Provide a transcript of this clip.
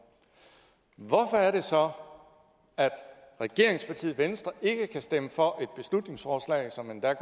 hvorfor er det så at regeringspartiet venstre ikke kan stemme for et beslutningsforslag som endda